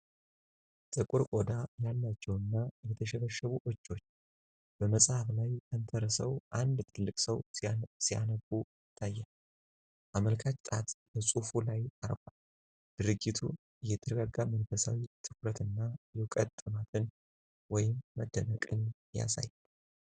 ጥቁር ቆዳ ያላቸው እና የተሸበሸቡ እጆች በመጽሐፍ ላይ ተንተርሰው አንድ ትልቅ ሰው ሲያነቡ ይታያሉ። አመልካች ጣት በፅሁፉ ላይ አርፏል፣ ድርጊቱ የተረጋጋ መንፈሳዊ ትኩረት እና የዕውቀት ጥማትን (መደነቅን) ያሳያል።